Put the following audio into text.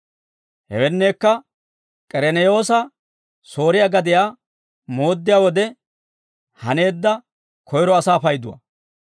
Hewenneekka, K'ereneyoose Sooriyaa gadiyaa mooddiyaa wode haneedda koyro asaa payduwaa.